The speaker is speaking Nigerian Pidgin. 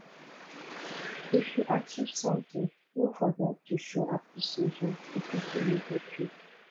if you achieve something no forget to show appreciation to people wey help you